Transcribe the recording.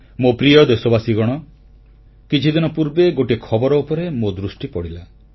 ମୋ ପ୍ରିୟ ଦେଶବାସୀଗଣ କିଛିଦିନ ପୂର୍ବେ ଗୋଟିଏ ଖବର ଉପରେ ମୋ ଦୃଷ୍ଟି ପଡ଼ିଲା